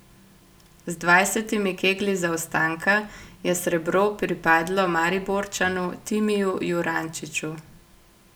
Z dvajsetimi keglji zaostanka je srebro pripadlo Mariborčanu Timiju Jurančiču.